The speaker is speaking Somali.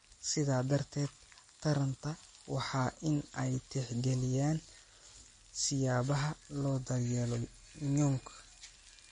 Sidaa darteed, taranta waa in ay tixgeliyaan siyaabaha loo daryeelo nyuk